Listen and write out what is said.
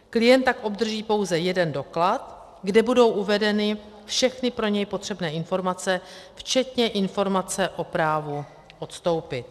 Klient tak obdrží pouze jeden doklad, kde budou uvedeny všechny pro něj potřebné informace, včetně informace o právu odstoupit.